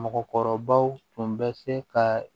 Mɔgɔkɔrɔbaw tun bɛ se ka